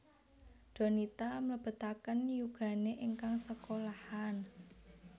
Donita mlebetaken yugane ingkang sekolahan